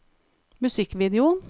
musikkvideo